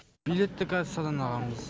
билетті кассадан алғанбыз